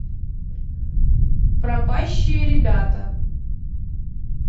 пропащие ребята